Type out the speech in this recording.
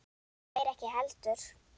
Þeir ekki heldur.